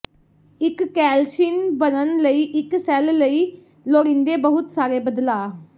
ਇੱਕ ਕੈਲਸ਼ੀਨ ਬਣਨ ਲਈ ਇੱਕ ਸੈੱਲ ਲਈ ਲੋੜੀਂਦੇ ਬਹੁਤ ਸਾਰੇ ਬਦਲਾਅ